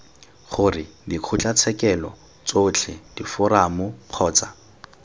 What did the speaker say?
gore dikgotlatshekelo tsotlhe diforamo kgotsa